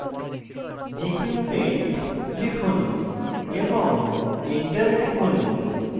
gchempaint লিখুন এবং enter টিপুন